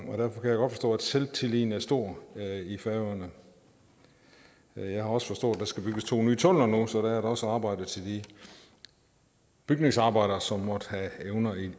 og at selvtilliden er stor i færøerne jeg har også forstået at der skal bygges to nye tunneler nu så der er der også arbejde til de bygningsarbejdere som måtte have evner